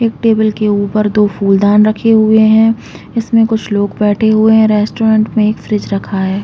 एक टेबल के ऊपर दो फूलदान रखे हुए है उसमें कुछ लॊग बैठे हुए है रेस्टोरेन्ट में एक फ्रिज रखा हैं ।